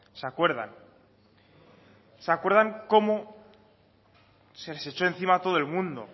se acuerdan se acuerdan cómo se les echo encima todo el mundo